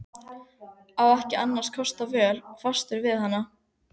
Á ekki annarra kosta völ, fastur við hana.